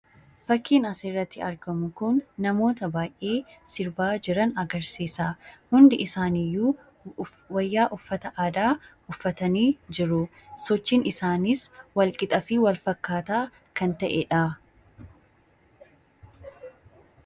Fakkiin asirratti argamu kun namoota baay'ee sirbaa jiran agarsiisa. Hundi isaaniiyyuu wayyaa uffata aadaa uffatanii jiru. Sochiin isaaniis wal-qixaa fi wal-fakkaataa kan ta'edha.